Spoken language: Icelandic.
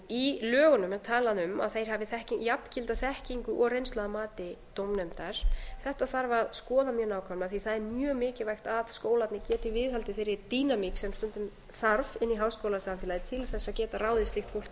í lögunum er talað um að þeir hafi jafngilda þekkingu og reynslu að mati dómnefndar þetta þarf að skoða mjög nákvæmlega því að það er mjög mikilvægt að skólarnir geti viðhaldið þeirri dýnamík sem stundum þarf inn í háskólasamfélagið til þess að geta ráðið slíkt fólk til